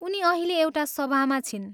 उनी अहिले एउटा सभामा छिन्।